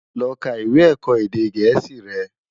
Lò ká iwé èkò édé gèési rè